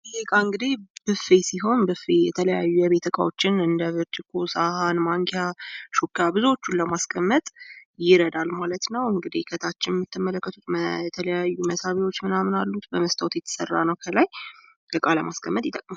ይህ እቃ እንግዲህ ብፌ ሲሆን የተለያዩ የቤት እቃዎችን እንደ ብርጭቆ ፣ ሳህን ፣ ማንኪያ ፣ ሹካ እና ብዙዎቹን ለማስቀመጥ ይረዳል። ማለት ነው። እንግዲህ ከታች የምትመለከቱት የተለያዩ መሳቢያዎች ምናምን አሉት። በመስታዎት የተሰራ ነው። ባጠቃላይ እቃ ለማስቀምጥ ይረዳል።